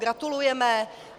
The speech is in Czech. Gratulujeme.